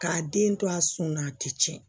K'a den to a sun na a tɛ tiɲɛ